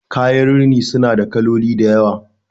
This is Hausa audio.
kayan rini suna da kaloli da yawa